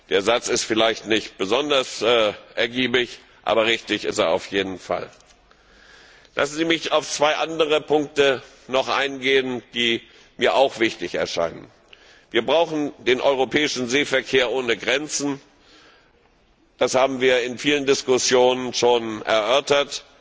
Der Satz ist vielleicht nicht besonders ergiebig, aber richtig ist er auf jeden Fall. Lassen Sie mich noch auf zwei andere Punkte eingehen, die mir auch wichtig erscheinen. Wir brauchen den europäischen Seeverkehr ohne Grenzen. Das haben wir in vielen Diskussionen schon erörtert,